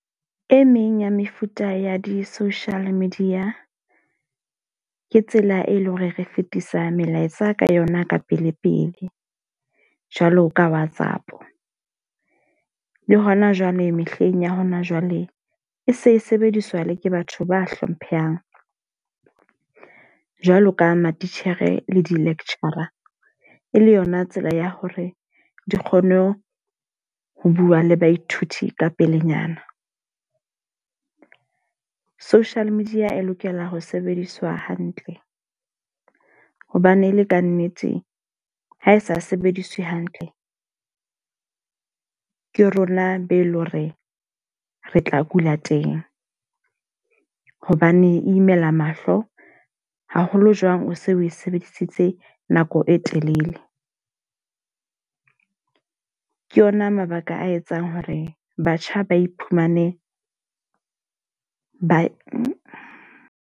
E meng ya mefuta ya di-social media ke tsela e leng hore re fetisa melaetsa ka yona ka pele pele. Jwalo ka WhatsApp. Le hona jwale mehleng ya hona jwale e se e sebediswa le ke batho ba hlomphehang. Jwalo ka matitjhere le di-lecture e le yona tsela ya hore di kgone ho bua le baithuti ka pelenyana. Social media e lokela ho sebediswa hantle hobane e le ka nnete ha e sa sebediswe hantle. Ke rona be leng hore re tla kula teng hobane imela mahlo haholo. Jwang o se o e sebedisitse nako e telele. Ke yona mabaka a etsang hore batjha ba iphumane ba.